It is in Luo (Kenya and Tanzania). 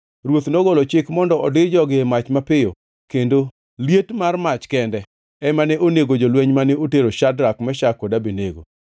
Ruoth nogolo chik mondo odir jogi e mach mapiyo, kendo liet mar mach kende ema ne onego jolweny mane otero Shadrak, Meshak kod Abednego,